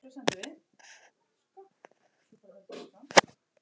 Enn meiri undrun